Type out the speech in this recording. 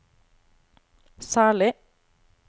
særlig